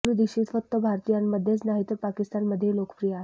माधुरी दीक्षित फक्त भारतीयांमध्येच नाही तर पाकिस्तानमध्येही लोकप्रिय आहे